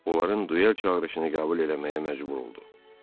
Onların duel çağırışını qəbul eləməyə məcbur oldu.